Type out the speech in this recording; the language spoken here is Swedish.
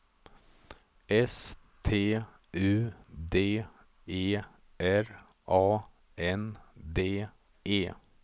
S T U D E R A N D E